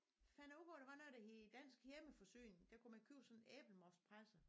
Fandt jeg ud af der var noget der hed dansk hjemmeforsyning der kunne man købe sådan en æblemostpresser